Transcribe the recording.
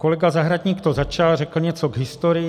Kolega Zahradník to začal, řekl něco k historii.